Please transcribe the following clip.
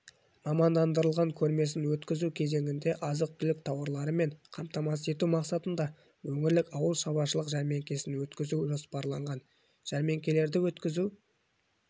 мамандандырылған көрмесін өткізу кезеңінде азық-түлік тауарларымен қамтамасыз ету мақсатында өңірлік ауылшаруашылық жәрмеңкесін өткізу жоспарланған жәрмеңкелерді өткізу